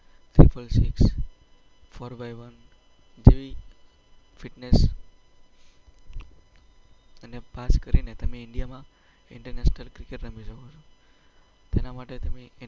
Sulphur six, four by one, જેવી ફિટનેસને પાસ કરીને તમે ઈન્ડિયામાં ઈન્ટરનેશનલ ક્રિકેટ રમી શકો છો. તેના માટે તમે